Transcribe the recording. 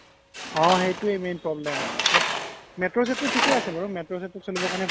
অ সেইতোৱে main problem but metro চেত্ত্ৰ থিকে আছে বাৰু metro চেত্ত্ৰ চ্লিবৰ কাৰনে